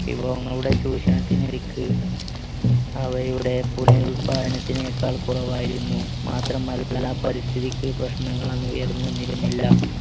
വിഭവങ്ങളുടെ ചൂഷണത്തിന് അവയുടെ പുനരുൽപാദനത്തിനേക്കാൾ കുറവായിരുന്നു മാത്രം പരിസ്ഥിതിക്ക് പ്രശ്നങ്ങളൊന്നും ഉയർന്നുവന്നിരുന്നില്ല